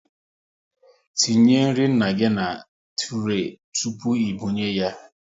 Tinye nri nna gị na turay tụpụ ị binye ya nri